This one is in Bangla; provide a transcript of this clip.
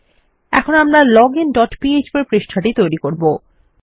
এখন আমরা লজিন ডট পিএচপি পৃষ্ঠাটি তৈরী করব